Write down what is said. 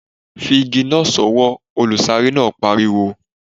Fi igi náà sọwọ́! Olùsáré náà pariwo.